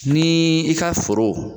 Ni i ka foro